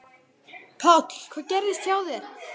Páll: Hvað gerðist hjá þér?